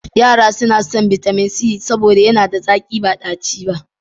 Yara suna son bitamin c saboda yana da zaƙi ba ɗaci ba.